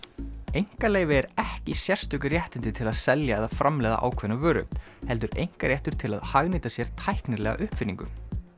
einkaleyfi er ekki sérstök réttindi til að selja eða framleiða ákveðna vöru heldur einkaréttur til að hagnýta sér tæknilega uppfinningu